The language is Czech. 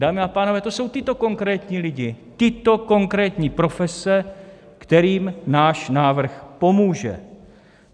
Dámy a pánové, to jsou tito konkrétní lidé, tyto konkrétní profese, kterým náš návrh pomůže.